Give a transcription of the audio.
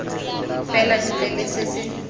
fela ntle le se se